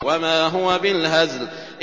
وَمَا هُوَ بِالْهَزْلِ